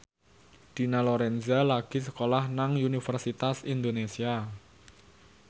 Dina Lorenza lagi sekolah nang Universitas Indonesia